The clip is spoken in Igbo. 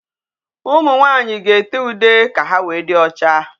Ụmụ nwaanyị ga-ete ude ka ha wéé dị ọcha.